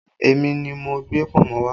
Èmi ni mo gbé pọ̀nmọ́ wá